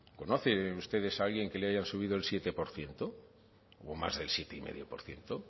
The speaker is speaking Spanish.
conocen ustedes a alguien que le hayan subido el siete por ciento o más del siete coma cinco por ciento